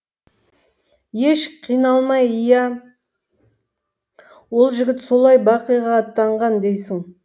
еш қиналмай иә ол жігіт солай бақиға аттанған дейсің